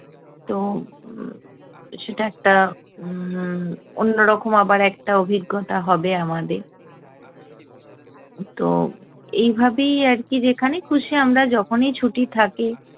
তো উম সেটা একটা উম্ম অন্য রকম আবার একটা অভিজ্ঞতা হবে আমাদের। তো এইভাবেই আর কী যেখানে খুশি আমরা যখনই ছুটি থাকে